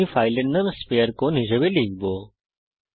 আমি ফাইলের নাম sphere কোন হিসাবে লিখব